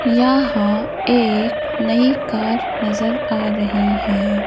यहां एक नई कार नजर आ रही है।